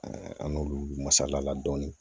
an n'olu masala la dɔɔni